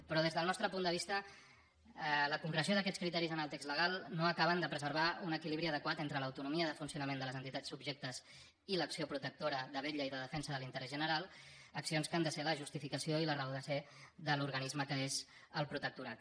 però des del nostre punt de vista la concreció d’aquests criteris en el text legal no acaba de preservar un equilibri adequat entre l’autonomia de funcionament de les entitats subjectes i l’acció protectora de vetlla i de defensa de l’interès general accions que han de ser la justificació i la raó de ser de l’organisme que és el protectorat